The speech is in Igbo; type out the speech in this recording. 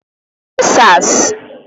Answers